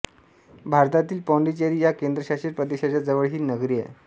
भारतातील पाँडिचेरी या केंद्रशासित प्रदेशाच्या जवळ ही नगरी आहे